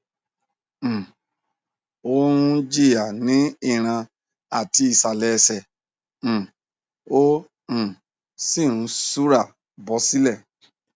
um ó ń jìya ní ìràn àti ìsàlẹ ẹsẹ um ó um sì ń ṣúra bọ silẹ